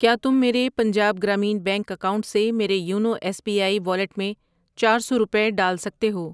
ٔکیا تم میرے Punjab Gramin bank account سے میرے YONO S B I wallet میں چار سو روپے ڈال سکتے ہو؟